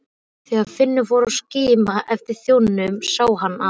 Þegar Finnur fór að skima eftir þjóninum sá hann að